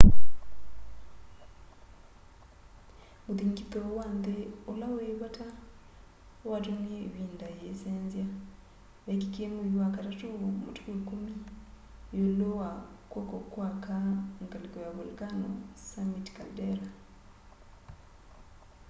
muthingithu wa nthi ula wi vata watumie ivinda yiisenzya weekikie mwei wa katatu matuku 10 yiulu wa kw'oko kwa aka ngaliko ya volcano summit caldera